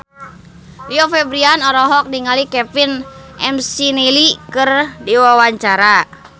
Rio Febrian olohok ningali Kevin McNally keur diwawancara